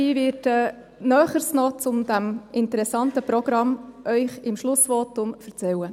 Ich werde Ihnen im Schlussvotum Näheres zu diesem interessanten Programm erzählen.